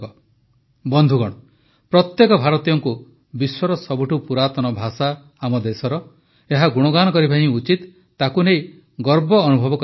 ବନ୍ଧୁଗଣ ପ୍ରତ୍ୟେକ ଭାରତୀୟଙ୍କୁ ବିଶ୍ୱର ସବୁଠୁ ପୁରାତନ ଭାଷା ଆମ ଦେଶର ଏହା ଗୁଣଗାନ କରିବା ହିଁ ଉଚିତ ତାକୁ ନେଇ ଗର୍ବ ଅନୁଭବ କରିବା ଆବଶ୍ୟକ